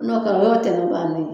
N'o kɛra o y'o tɛnɛ bannen ye